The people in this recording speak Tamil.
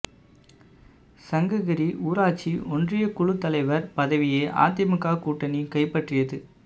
சங்ககிரி ஊராட்சி ஒன்றிய குழுத் தலைவா் பதவியை அதிமுக கூட்டணி கைப்பற்றியது